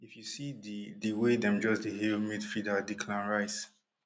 if you see di di way dem just dey hail midfielder declan rice